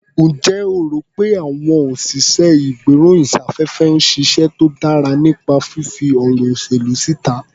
Ǹjẹ́ o rò pé àwọn òsìṣẹ́-ìgbéròyìn-sáfẹ́fẹ́ ń ṣiṣẹ́ tó dára nípa fífí ọ̀rọ̀ ìṣèlú síta?